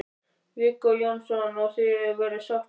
Viggó Jónsson: Og, og þið eruð sáttar?